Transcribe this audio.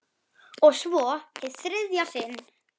Og svo- hið þriðja sinn.